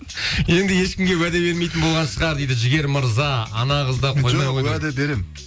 енді ешкімге уәде бермейтін болған шығар дейді жігер мырза ана қыз да жоқ әуде беремін